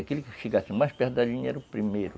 Aquele que chegasse mais perto da linha era o primeiro.